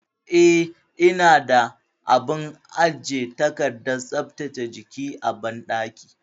Eh, ina da abin ajiye takardar tsaftace jiki a banɗaki.